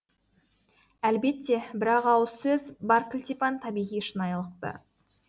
әлбетте бір ақ ауыз сөз бар кілтипан табиғи шынайылықта